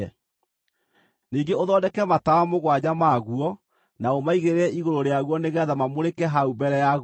“Ningĩ ũthondeke matawa mũgwanja maguo na ũmaigĩrĩre igũrũ rĩaguo nĩgeetha mamũrĩke hau mbere ya guo.